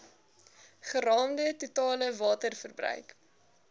geraamde totale waterverbruik